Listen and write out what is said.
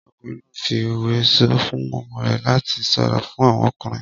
Ọkùnrin náà fi òwe sọ fún ọmọ rẹ̀ láti ṣọ́ra fún àwọn ọkùnrin.